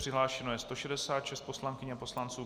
Přihlášeno je 166 poslankyň a poslanců.